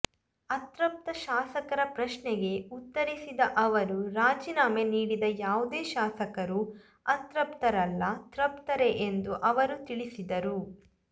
ಅತೃಪ್ತ ಶಾಸಕರ ಪ್ರಶ್ನೆಗೆ ಉತ್ತರಿಸಿದ ಅವರು ರಾಜೀನಾಮೆ ನೀಡಿದ ಯಾವುದೇ ಶಾಸಕರು ಅತೃಪ್ತರಲ್ಲ ತೃಪ್ತರೇ ಎಂದು ಅವರು ತಿಳಿಸಿದರು